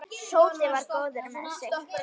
Tóti var góður með sig.